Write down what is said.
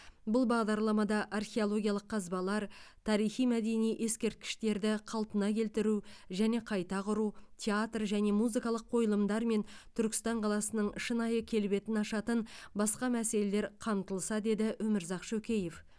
бұл бағдарламада археологиялық қазбалар тарихи мәдени ескерткіштерді қалпына келтіру және қайта құру театр және музыкалық қойылымдар мен түркістан қаласының шынайы келбетін ашатын басқа мәселелер қамтылса деді өмірзақ шөкеев